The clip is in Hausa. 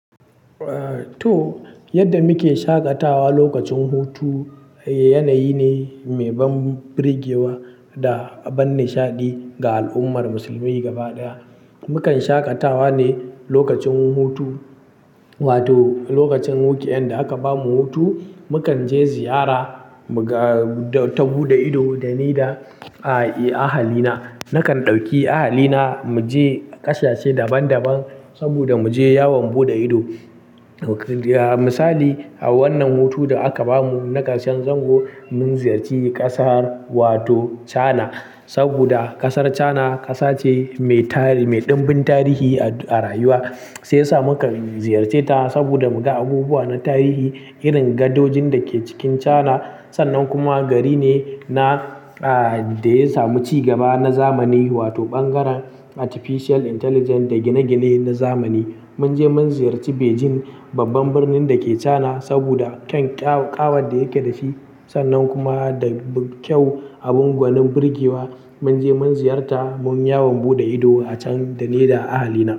Eh to, yadda muke shaƙatawa lokacin hutu, yanayi ne mai ban birgewa da ban nishaɗi ga al'ummar musulmi gaba ɗaya. Mukan shaƙatawa ne lokacin hutu wato lokacin weekend, da aka bamu hutu, mukan je ziyara, muga-- ta buɗe ido dani da ahalina. Nakan ɗauki ahalina mu je ƙasashe daban-daban saboda mu je yawon buɗe ido. Misali, a wannan hutu da aka ba mu na ƙarshen zango, mun ziyarci ƙasar wato China saboda ƙasar China ƙasa ce mai tarihi, mai ɗimbin tarihi a rayuwa. Shiyasa mukan ziyarce ta saboda muga abubuwa na tarihi irin gadojin da ke cikin China. Sannan kuma gari ne na, ah, da ya samu ci gaba na zamani wato ɓangaren artificial intelligence da gine-gine na zamani. Mun je mun ziyarci Beijing, babban birnin da ke China saboda ƙyan ƙawar da yake da shi sannan kuma da kyau abin gwanin birgewa. Mun je mun ziyarta, mun yawon buɗe ido a can da ni da ahalina.